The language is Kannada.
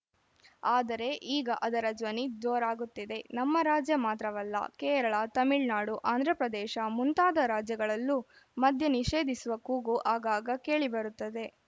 ಆದರೆ ಈಗ ಅದರ ಧ್ವನಿ ಜೋರಾಗುತ್ತಿದೆ ನಮ್ಮ ರಾಜ್ಯ ಮಾತ್ರವಲ್ಲ ಕೇರಳ ತಮಿಳುನಾಡು ಆಂಧ್ರಪ್ರದೇಶ ಮುಂತಾದ ರಾಜ್ಯಗಳಲ್ಲೂ ಮಧ್ಯ ನಿಷೇಧಿಸುವ ಕೂಗು ಆಗಾಗ ಕೇಳಿಬರುತ್ತದೆ